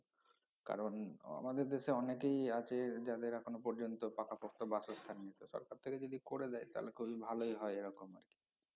কারন আমাদের দেশে অনেকেই আছে যাদের এখনও পর্যন্ত পাকাপোক্ত বাসস্থান নেই তো সরকার থেকে যদি করে দেয় তাহলে খুবই ভালোই হয় এরকম আরকি